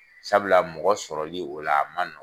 Sabula mɔgɔ sɔrɔli o la a man nɔ